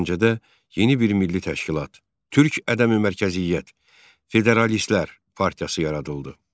Gəncədə yeni bir milli təşkilat, Türk ədəmi-mərkəziyyət Federalistlər partiyası yaradıldı.